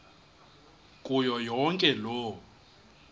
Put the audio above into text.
kuyo yonke loo